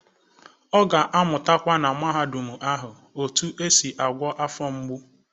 Ọ ga-amụtakwa, na Mahadum ahụ, otu esi agwọ afọ mgbu.